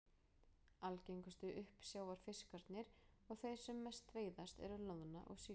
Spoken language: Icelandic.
Algengustu uppsjávarfiskarnir og þeir sem mest veiðast eru loðna og síld.